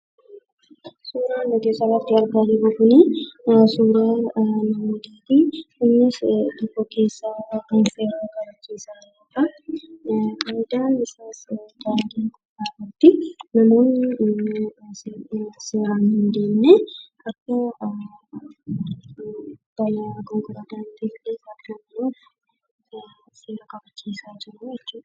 Suuraan nuti asii gaditti argaa jirru kun suuraa Poolisiiti. Innis seera kabachiisaa jira. Namootni seera hin kabajne akka seera kabajan gochuun seera kabachiisaa jiru jechuudha.